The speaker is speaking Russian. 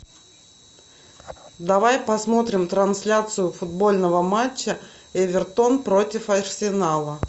давай посмотрим трансляцию футбольного матча эвертон против арсенала